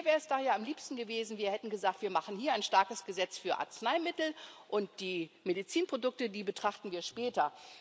Mir wäre es daher am liebsten gewesen, wir hätten gesagt Wir machen hier ein starkes Gesetz für Arzneimittel, und die Medizinprodukte, die betrachten wir später.